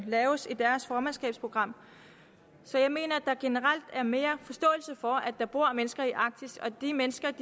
laves i deres formandskabsprogram så jeg mener at der generelt er mere forståelse for at der bor mennesker i arktis og at de mennesker